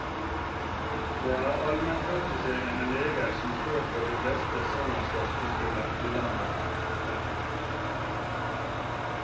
Det er almenpraktiserende leger som står for de fleste svangerskapskontrollene i landet vårt. punktum